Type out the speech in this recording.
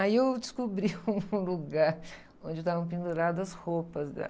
Aí eu descobri um lugar onde estavam penduradas as roupas dela.